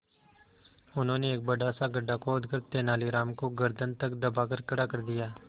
उन्होंने एक बड़ा सा गड्ढा खोदकर तेलानी राम को गर्दन तक दबाकर खड़ा कर दिया